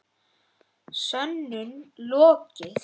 Sönnun lokið.